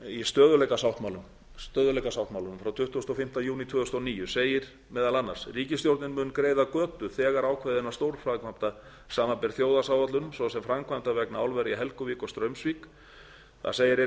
í stöðugleikasáttmálanum frá tuttugasta og fimmta júní tvö þúsund og níu segir meðal annars ríkisstjórnin mun greiða götu þegar ákveðinna stórframkvæmda samanber þjóðhagsáætlun svo sem framkvæmda vegna álvera í helguvík og straumsvík það segir einnig að